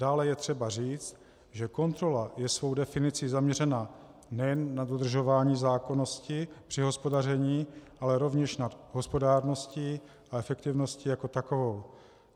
Dále je třeba říct, že kontrola je svou definicí zaměřena nejen na dodržování zákonnosti při hospodaření, ale rovněž nad hospodárností a efektivností jako takovou.